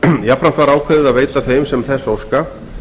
jafnframt var ákveðið að veita þeim sem þess óska